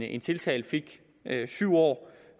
en tiltalt fik syv år